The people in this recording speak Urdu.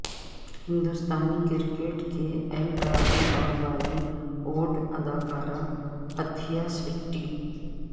ہندوستانی کرکٹ کے ایل راہل اور بالی ووڈ اداکارہ اتھیا شیٹی